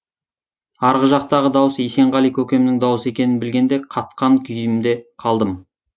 арғы жақтағы дауыс есенғали көкемнің дауысы екенін білгенде қатқан күйімде қалдым